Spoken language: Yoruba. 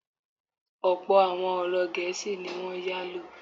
Ọ̀pọ̀ àwọn ọ̀rọ̀ Gẹ̀ésì ní wọ́n yálò.